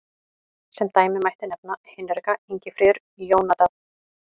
Sem dæmi mætti nefna Hinrika, Ingifríður, Jónadab.